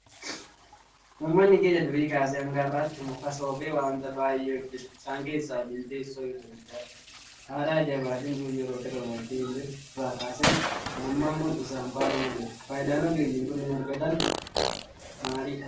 Uummanni keenya durii kaasee hanga har'aatti muka soofee waanta baay'ee hojjeta. Isaan keessaa hojiin teessoo isa guddaadha. Haala ajaa'ibaatiin dur yeroo teekinooloojiin hinjirre irraa kaasee ogummaan kun isaan faana buleera. Faayidaan ogeeyyiin kunneen argatan maalidha?